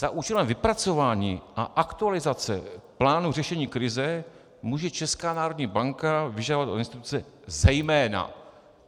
Za účelem vypracování a aktualizace plánu řešení krize může Česká národní banka vyžadovat od instituce zejména...